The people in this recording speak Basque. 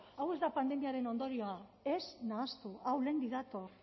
hau ez da pandemiaren ondorioa ez nahastu hau lehendik dator